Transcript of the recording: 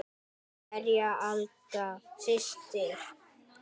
Kveðja, Agla systir.